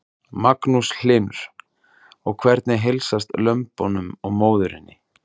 Magnús Hlynur: Og hvernig heilsast lömbunum og móðurinni?